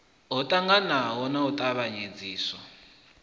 ho ṱangaṋwa na u tavhanyedziswa